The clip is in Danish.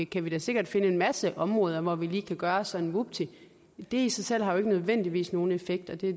kan vi da sikkert finde en masse områder hvor vi lige kan gøre det sådan vupti det i sig selv har jo ikke nødvendigvis nogen effekt og det